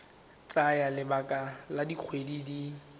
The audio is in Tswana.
tsaya lebaka la dikgwedi di